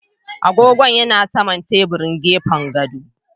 Agogon ya na saman teburin gefen gado.